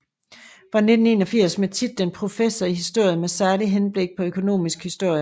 Fra 1981 med titlen professor i historie med særligt henblik på økonomisk historie